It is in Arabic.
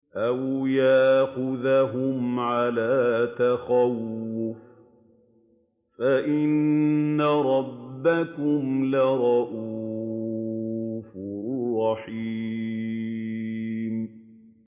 أَوْ يَأْخُذَهُمْ عَلَىٰ تَخَوُّفٍ فَإِنَّ رَبَّكُمْ لَرَءُوفٌ رَّحِيمٌ